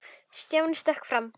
Stjáni stökk fram.